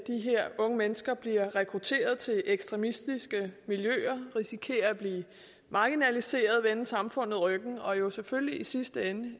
her unge mennesker bliver rekrutteret til ekstremistiske miljøer hvorved risikerer at blive marginaliseret og vende samfundet ryggen og jo selvfølgelig i sidste ende